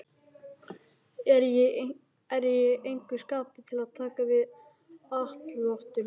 Er í engu skapi til að taka við atlotum núna.